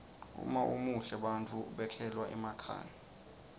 uma umuhle bantfu bekhelwa emakhaya